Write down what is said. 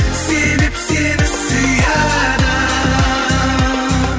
себеп сені сүйеді